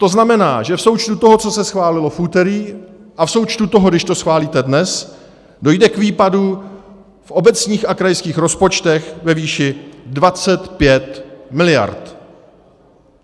To znamená, že v součtu toho, co se schválilo v úterý, a v součtu toho, když to schválíte dnes, dojde k výpadku v obecních a krajských rozpočtech ve výši 25 miliard.